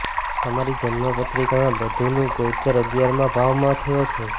તમારી જન્મપત્રિકા માં બુધ નું ગોચર અગિયાર માં ભાવ માં થયો છે